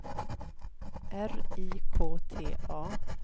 R I K T A